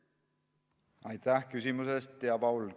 Aitäh küsimuse eest, hea Paul!